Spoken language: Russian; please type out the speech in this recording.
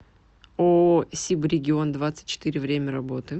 ооо сибрегион двадцать четыре время работы